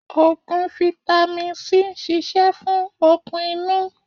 Ogun fitàmì si ń ṣíṣe fún okun inú.